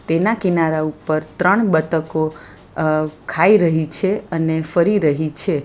એના કિનારા ઉપર ત્રણ બતકો અહ ખાઈ રહી છે અને ફરી રહી છે.